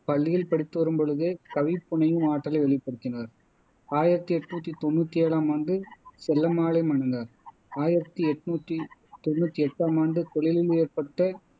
தனது பதினொன்றாம் வயதில் பள்ளியில் படித்து வரும்பொழுதே கவி புனையும் ஆற்றலை வெளிப்படுத்தினார் ஆயிரத்தி என்னுத்தி தொன்னுத்தி ஏழாம் ஆண்டு செல்லம்மாளை மணந்தார் ஆயிரத்தி என்னுத்தி தொன்னுத்தி எட்டாம் ஆண்டு தொழிலில் ஏற்பட்ட